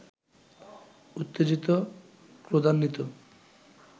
উত্তেজিত, ক্রোধান্বিত